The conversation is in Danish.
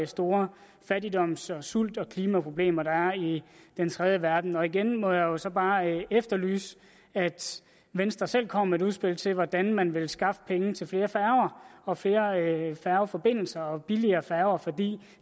store fattigdoms sult og klimaproblemer der er i den tredje verden igen må jeg så bare efterlyse at venstre selv kommer med et udspil til hvordan man vil skaffe penge til flere færger og flere færgeforbindelser og billigere færger for